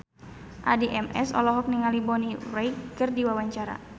Addie MS olohok ningali Bonnie Wright keur diwawancara